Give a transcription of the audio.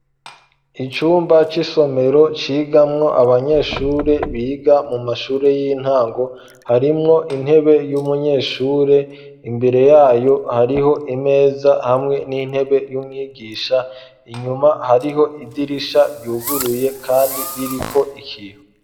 Icumba c'isomero cigamwo abanyeshure biga mu mashure y'intango harimwo intebe y'umunyeshure imbere yayo hariho imeza hamwe n'intebe y'umwigisha inyuma hariho idirisha ryuguruye kandi ririko ikintu.